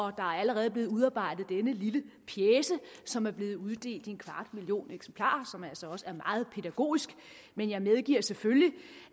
er allerede blevet udarbejdet denne lille pjece som er blevet uddelt i en kvart million eksemplarer og som altså også er meget pædagogisk men jeg medgiver selvfølgelig